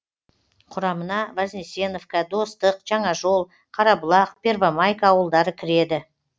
құрамына вознесеновка достық жаңажол қарабұлақ первомайка ауылдары кіреді